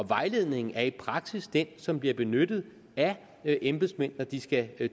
vejledningen er i praksis den som bliver benyttet af embedsmænd når de skal